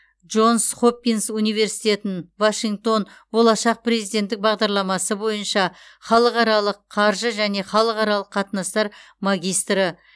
джонс хопинс университетін вашингтон болашақ президенттік бағдарламасы бойынша халықаралық қаржы және халықаралық қатынастар магистрі